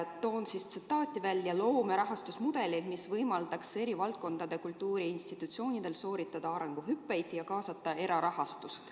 Toon välja tsitaadi: "Kultuurikiirendi – loome rahastusmudeli, mis võimaldaks eri valdkondade kultuuriinstitutsioonidel sooritada arenguhüppeid ja kaasata erarahastust.